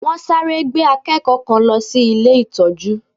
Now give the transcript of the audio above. Wọ́n sáré gbé akẹ́kọ̀ọ́ kan lọ sí ilé ìtọ́jú